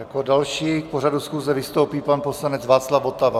Jako další k pořadu schůze vystoupí pan poslanec Václav Votava.